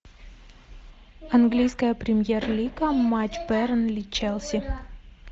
английская премьер лига матч бернли челси